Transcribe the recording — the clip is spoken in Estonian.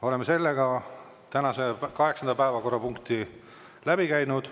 Me oleme tänase kaheksanda päevakorrapunkti menetlemise lõpetanud.